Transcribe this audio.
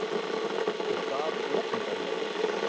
Og það opinberlega!